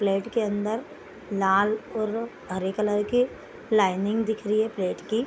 Plate के अंदर लाल और हरे कलर की लाइनिंग दिख रही है प्लेट की।